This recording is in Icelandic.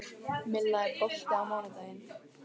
Milla, er bolti á mánudaginn?